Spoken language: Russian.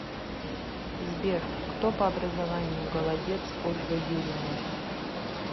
сбер кто по образованию голодец ольга юрьевна